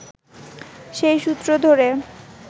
সেই সূত্র ধরে